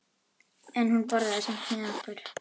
En hún borðaði samt með okkur.